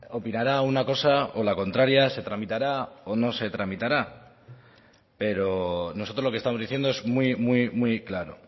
opinará una cosa o la contraria se tramitará o no se tramitará pero nosotros lo que estamos diciendo es muy muy muy claro